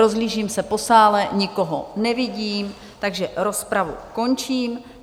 Rozhlížím se po sále, nikoho nevidím, takže rozpravu končím.